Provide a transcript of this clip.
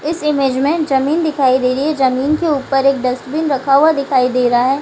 इस इमेज़ में ज़मीन दिखाई दे रही है। ज़मीन ऊपर एक डस्टबिन रखा हुआ दिखाई दे रहा है।